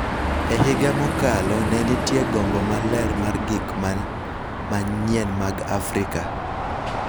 E higa mokalo, ne nitie gombo maler mar gik ma manyien mag Afrika